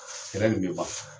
Kɛlɛ nin be ban.